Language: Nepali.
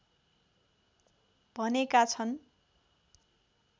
भनेका छन्